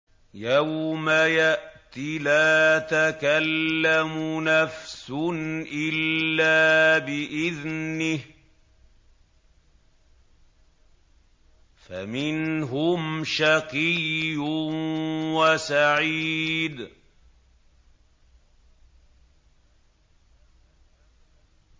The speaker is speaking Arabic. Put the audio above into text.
يَوْمَ يَأْتِ لَا تَكَلَّمُ نَفْسٌ إِلَّا بِإِذْنِهِ ۚ فَمِنْهُمْ شَقِيٌّ وَسَعِيدٌ